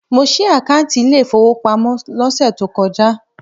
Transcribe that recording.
Mo ṣí àkáùntì ilé ìfowópamọ́ lọ́sẹ̀ tó kọjá.